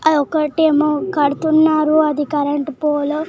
అదొక్కటేమో కడుతున్నారు అది కరెంటు పోలో .